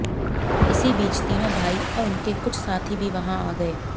इसी बीच तीनों भाई और उनके कुछ साथी भी वहां आ गए